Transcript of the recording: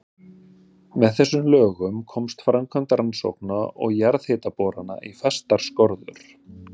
Með þessum lögum komst framkvæmd rannsókna og jarðhitaborana í fastar skorður.